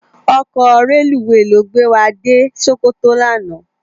Òkò rélúwé ló gbé wá dé Sokoto làná